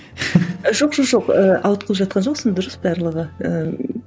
жоқ жоқ жоқ ыыы ауытқып жатқан жоқсың дұрыс барлығы ыыы